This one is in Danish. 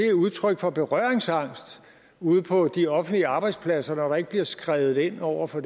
udtryk for berøringsangst ude på de offentlige arbejdspladser når der ikke bliver skredet ind over for